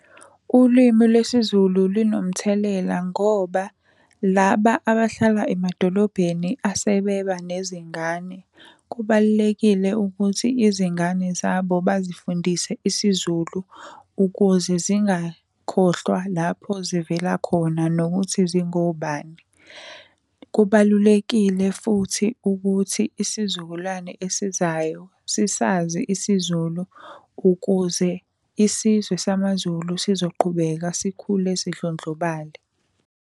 Ulimi lwesiZulu linomthelela ngoba, laba abahlala emadolobheni asebeba nezingane, kubalulekile ukuthi izingane zabo bazifundise isiZulu ukuze zingakhohlwa lapho zivela khona nokuthi zingobani. Kubalulekile futhi ukuthi isizukulwane ezizayo sisazi isiZulu ukuze isizwe samaZulu sizoqhubeka sikhule sidlondlobale.